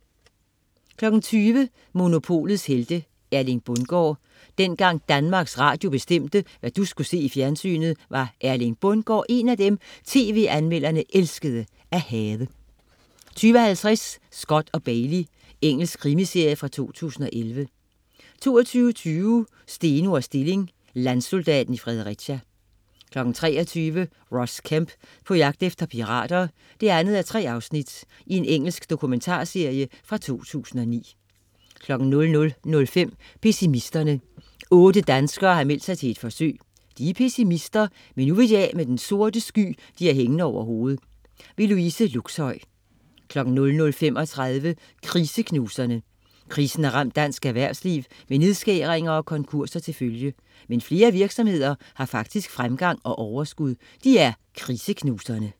20.00 Monopolets Helte. Erling Bundgaard. Dengang Danmarks Radio bestemte, hvad du skulle se i fjernsynet, var Erling Bundgaard en af dem, tv-anmelderne elskede at hade 20.50 Scott & Bailey. Engelsk krimiserie fra 2011 22.20 Steno og Stilling. Landsoldaten i Fredericia 23.00 Ross Kemp på jagt efter pirater 2:3. Engelsk dokumentarserie fra 2009 00.05 Pessimisterne. Otte danskere har meldt sig til et forsøg. De er pessimister, men nu vil de vil de af med den sorte sky de har hængende over hovedet. Louise Luxhøi 00.35 Kriseknuserne. Krisen har ramt dansk erhvervsliv med nedskæringer og konkurser til følge. Men flere virksomheder har faktisk fremgang og overskud. De er Kriseknuserne